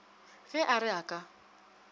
ge a re a ka